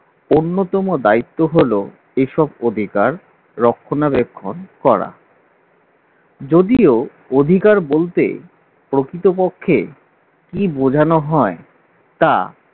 অন্যতম দায়িত্ব হলো এসব অধিকার রক্ষণাবেক্ষণ করা যদিও অধিকার বলতে প্রকৃতপক্ষে কি বোঝানো হয় তা